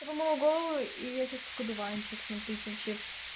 я помыла голову и я сейчас как одуванчик смотрите вообще